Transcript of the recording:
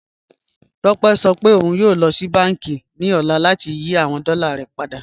Tópẹ̀ sọ pé ọ̀un yóò lọ sí bánkì ni ọ̀lá láti yí awọn dọ́là rẹ̀ padà